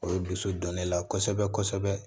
O ye dusu don ne la kosɛbɛ kosɛbɛ